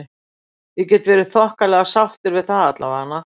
Ég get verið þokkalega sáttur við það allavega.